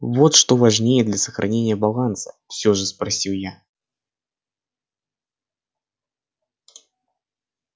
вот что важнее для сохранения баланса всё же спросил я